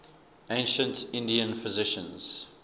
ancient indian physicians